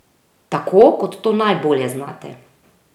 Tako, kot to najbolje znate.